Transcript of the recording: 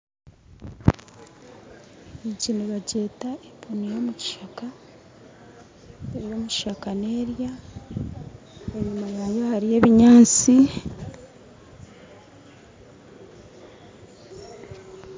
Egi nibagyeta empunu yomukishaka ery'omukishaka nerya enyuma yayo hariyo ebinyaatsi.